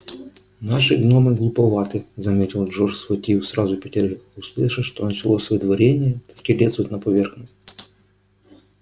наши гномы глуповаты заметил джордж схватив сразу пятерых услышат что началось выдворение так и лезут на поверхность